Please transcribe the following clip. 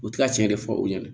U ti ka cɛn de fɔ u ɲɛna